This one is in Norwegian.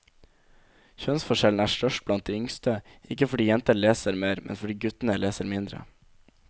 Kjønnsforskjellen er størst blant de yngste, ikke fordi jentene leser mer, men fordi guttene leser mindre.